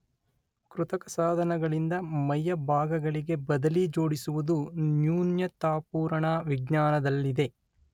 ಕೃತಕ ಸಾಧನಗಳಿಂದ ಮೈಯ ಭಾಗಗಳಿಗೆ ಬದಲಿ ಜೋಡಿಸುವುದು ನ್ಯೂನತಾಪೂರಣ ವಿಜ್ಞಾನದಲ್ಲಿದೆ.